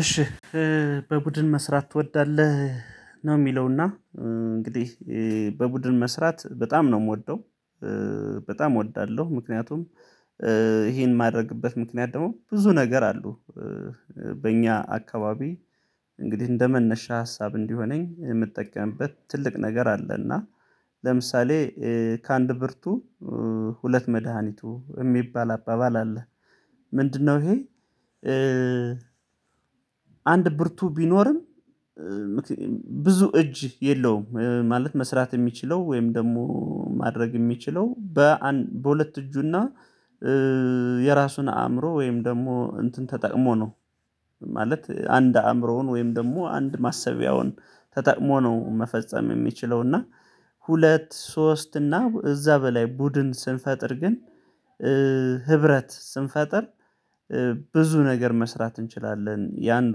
እሺ በቡድን መስራት ትወዳለህ? ነው የሚለውና እንግዲህ በቡድን መስራት በጣም ነው የምወደው በጣም እወዳለሁ። ምክንያቱም ይሄን ማድረግበት ምክንያት ደግሞ ብዙ ነገር አሉ። በእኛ አካባቢ እንግዲህ እንደ መነሻ ሀሳብ እንዲሆነኝ የምጠቀምበት ትልቅ ነገር አለ እና ለምሳሌ ከአንድ ብርቱ ሁለት መድሃኒቱ የሚባል አባባል አለ። ምንድነው ይሄ? አንድ ብርቱ ቢኖርም ብዙ እጅ የለውም ማለት መስራት የሚችለው ወይም ደግሞ ማድረግ የሚችለው በሁለት እጁ እና የራሱን አእምሮ ወይም ደግሞ እንትን ተጠቅሞ ነው። ማለት አንድ አእምሮውን ወይም ደግሞ አንድ ማሰቢያውን ተጠቅሞ ነው መፈጸም የሚችለው እና ሁለት ሶስት እና እዛ እዛበላይ ቡድን ስንፈጥር ግን ህብረት ስንፈጥር ብዙ ነገር መስራት እንችላለን የአንዱ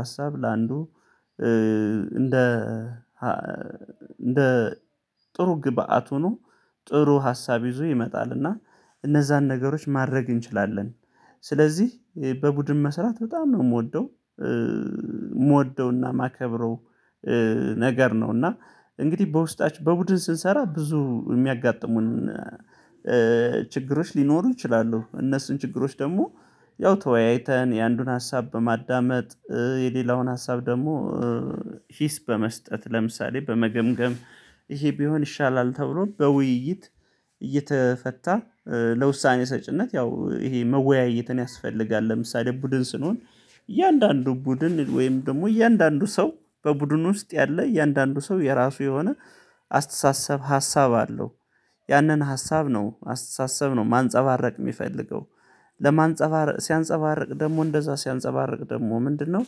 ሀሳብ ለአንዱ እንደ እንደ ጥሩ ግብአት ሆኖ ጥሩ ሀሳብ ይዞ ይመጣል እና እነዛን ነገሮች ማድረግ እንችላለን ስለዚህ በቡድን መስራት በጣም ነው የምወደው። የምወደውና ማከብረው ነገር ነው እና እንግዲህ በውስጣችን በቡድን ስንሰራ ብዙ የሚያጋጥሙን ችግሮች ሊኖሩ ይችላሉ። እነሱን ችግሮች ደግሞ ያው ተወያይተን የአንዱን ሀሳብ በማዳመጥ የሌላውን ሀሳብ ደግሞ ሂስ በመስጠት ለምሳሌ በመገምገም ይሄ ቢሆን ይሻላል ተብሎ በውይይት እየተፈታ ለውሳኔ ሰጪነት ያው ይሄ መወያየትን ያስፈልጋል። ለምሳሌ ቡድን ስንሆን እያንዳንዱ ቡድን ወይም ደግሞ እያንዳንዱ ሰው በቡድኑ ውስጥ ያለ እያንዳንዱ ሰው የራሱ የሆነ አስተሳሰብ ሀሳብ አለው ያንን ሀሳብ ነው አስተሳሰብ ነው ማንፀባረቅ የሚፈልገው ለማንፀባር ሲያንፀባርቅ ደግሞ እንደዛ ሲያንፀባርቅ ደግሞ ምንድነው?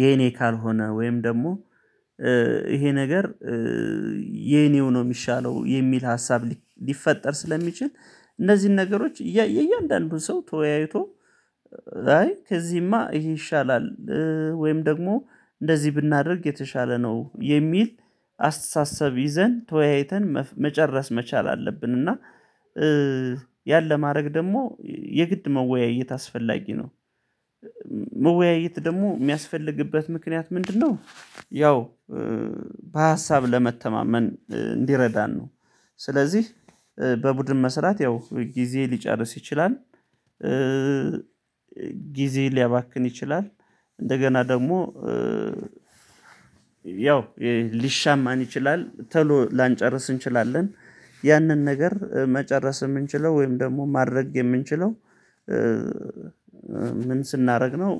የኔ ካልሆነ ወይም ደግሞ ይሄ ነገር የኔው ነው የሚሻለው የሚል ሀሳብ ሊፈጠር ስለሚችል እነዚህን ነገሮች እያየሁ እያንዳንዱን ሰው ተወያይቶ አይ ከዚህማ ይሄ ይሻላል ወይም ደግሞ እንደዚህ ብናደርግ የተሻለ ነው የሚል አስተሳሰብ ይዘን ተወያይተን መጨረስ መቻል አለብን። እና ያን ለማድረግ ደግሞ የግድ መወያየት አስፈላጊ ነው። መወያየት ደግሞ የሚያስፈልግበት ምክንያት ምንድነው? ያው በሀሳብ ለመተማመን እንዲረዳን ነው ስለዚህ በቡድን መስራት ያው ጊዜ ሊጨርስ ይችላል። ጊዜ ሊያባክን ይችላል። እንደገና ደግሞ ያው ሊሻማን ይችላል ተሎ ላንጨርስ እንችላለን ያንን ነገር መጨረስ የምንችለው ወይም ደግሞ ማድረግ የምንችለው ምን ስናደርግ ነው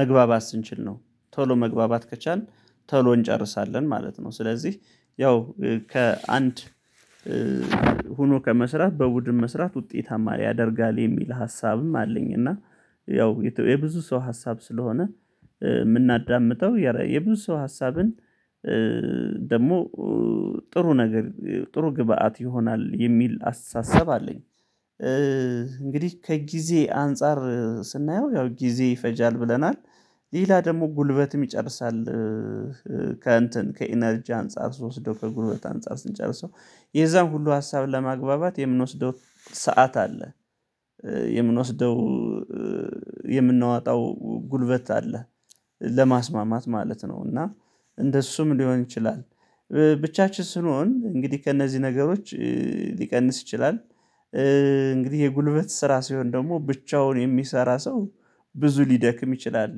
መግባባት ስንችል ነው ቶሎ መግባባት ከቻልን ቶሎ እንጨርሳለን ማለት ነው። ስለዚህ ያው ከአንድ ሆኖ ከመስራት በቡድን መስራት ውጤታማ ያደርጋል የሚል ሀሳብም አለኝ እና ያው የብዙ ሰው ሀሳብ ስለሆነ የምናዳምጠው የብዙ ሰው ሀሳብን ደግሞ ጥሩ ነገር ጥሩ ግብአት ይሆናል የሚል አስተሳሰብ አለኝ። እንግዲህ ከጊዜ አንፃር ስናየው ያው ጊዜ ይፈጃል ብለናል ሌላ ደግሞ ጉልበትም ይጨርሳል። ከእንትን ከኢነርጂ አንፃር ውስጥ ወስዶ ከጉልበት አንፃር ስንጨርሰው የዛን ሁሉ ሀሳብ ለማግባባት የምንወስደው ሰዓት አለ የምንወስደው የምናወጣው ጉልበት አለ። ለማስማማት ማለት ነው እና እንደሱም ሊሆን ይችላል ብቻችን ስንሆን እንግዲህ ከእነዚህ ነገሮች ሊቀንስ ይችላል። እንግዲህ የጉልበት ስራ ሲሆን ደግሞ ብቻውን የሚሰራ ሰው ብዙ ሊደክም ይችላል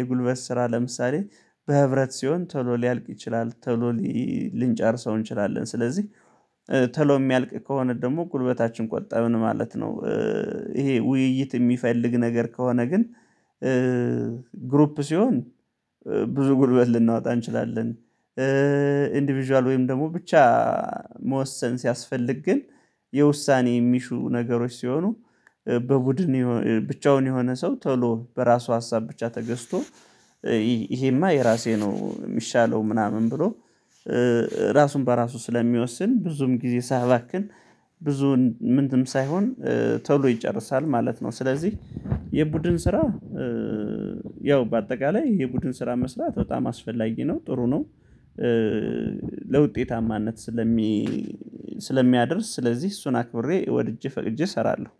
የጉልበት ስራ ለምሳሌ በህብረት ሲሆን ቶሎ ሊያልቅ ይችላል ቶሎ ሊንጨርሰው እንችላለን ስለዚህ ቶሎ የሚያልቅ ከሆነ ደግሞ ጉልበታችን ቆብን ማለት ነው። ይሄ ውይይት የሚፈልግ ነገር ከሆነ ግን ሲሆን ብዙ ጉልበት ልናወጣ እንችላለን። ኢንዲቪዥዋል ወይም ደግሞ ብቻ መወሰን ሲያስፈልግ ግን የውሳኔ የሚሹ ነገሮች ሲሆኑ በቡድን ብቻውን የሆነ ሰው ቶሎ በራሱ ሀሳብ ብቻ ተገዝቶ ይሄማ የራሴ ነው የሚሻለው ምናምን ብሎ ራሱን በራሱ ስለሚወስን ብዙም ጊዜ ሳያባክን ብዙውን ምንድን ሳይሆን ቶሎ ይጨርሳል ማለት ነው። ስለዚህ የቡድን ስራ ያው በአጠቃላይ የቡድን ስራ መስራት በጣም አስፈላጊ ነው ጥሩ ነው። ለውጤታማነት ስለሚ ስለሚያደርስ ስለዚህ እሱን አክብሬ ወድጄ ፈቅጄ እሰራለሁ።